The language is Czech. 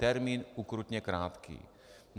Termín ukrutně krátký.